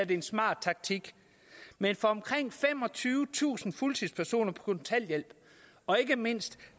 det en smart taktik men for omkring femogtyvetusind fuldtidspersoner på kontanthjælp og ikke mindst